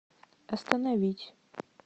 остановить